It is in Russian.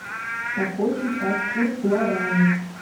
какой сейчас курс гуарани